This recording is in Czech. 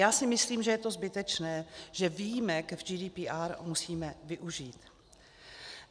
Já si myslím, že je to zbytečné, že víme, že GDPR musíme využít.